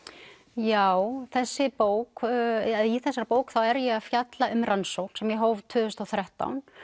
já þessi bók eða í þessari bók er ég að fjalla um rannsókn sem ég hóf tvö þúsund og þrettán